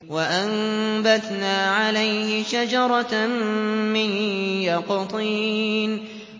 وَأَنبَتْنَا عَلَيْهِ شَجَرَةً مِّن يَقْطِينٍ